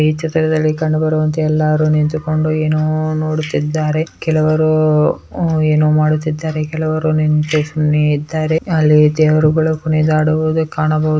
ಈ ಚಿತ್ರದಲ್ಲಿ ಕಂಡು ಬರುವಂತೆ ಎಲ್ಲಾರು ನಿಂತುಕೊಂಡು ಏನೋ ನೋಡುತ್ತಿದ್ದಾರೆ ಕೆಲವರು ಏನೋ ಮಾಡುತ್ತಿದ್ದಾರೆ ಕೆಲವರು ನಿಂತು ಸುಮ್ಮನೆ ಇದ್ದಾರೆ ಅಲ್ಲಿ ದೇವರುಗಳು ಕುಣಿದಾಡುವುದು ಕಾಣಬಹುದು.